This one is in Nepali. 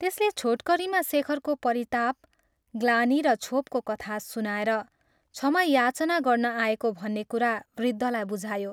त्यसले छोटकरीमा शेखरको परिताप, ग्लानि र क्षोभको कथा सुनाएर क्षमा याचना गर्न आएको भन्ने कुरा वृद्धलाई बुझायो।